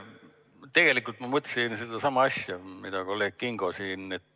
Tegelikult ma mõtlesin sedasama asja, mida kolleeg Kingo.